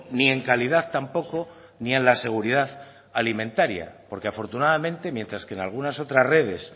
ni en calidad tampoco ni en la seguridad alimentaria porque afortunadamente mientras que en algunas otras redes